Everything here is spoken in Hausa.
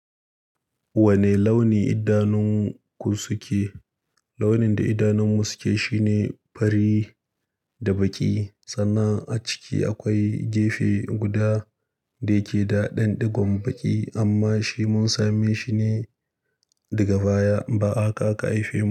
Wane launi idanunku suke? Launin da idanunmu suke shine fari da baƙi. Sannan a ciki akwai gefe guda da yake da ɗanɗigon baƙi amma shi mun same shine daga baya. Ba haka aka haifemu.